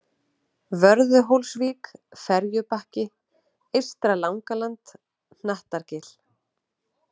Vörðuhólsvík, Ferjubakki, Eystra-Langaland, Hnattargil